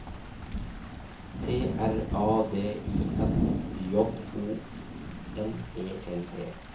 T R A D I S J O N E L T